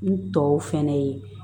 N tɔw fɛnɛ ye